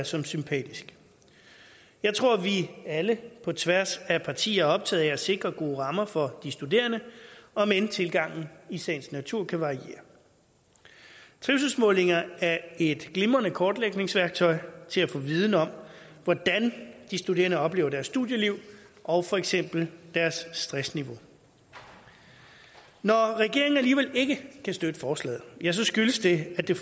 som sympatisk jeg tror at vi alle på tværs af partier er optaget af at sikre gode rammer for de studerende om end tilgangen i sagens natur kan variere trivselsmålinger er et glimrende kortlægningsværktøj til at få viden om hvordan de studerende oplever deres studieliv og for eksempel deres stressniveau når regeringen alligevel ikke kan støtte forslaget skyldes det at det